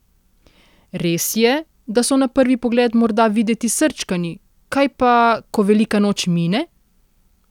Res je, da so na prvi pogled morda videti srčkani, kaj pa, ko Velika noč mine?